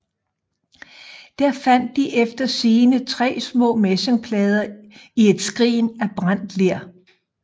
Der fandt de eftersigende tre små messingplader i et skrin af brændt ler